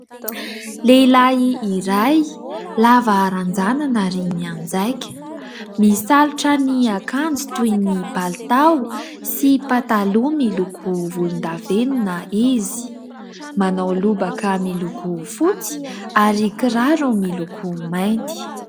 Lehilahy iray lava ranjanana ary mianjaika. Misalotra ny akanjo toy ny palitao sy pataloha miloko volondavenona izy. Manao lobaka miloko fotsy ary kiraro miloko mainty.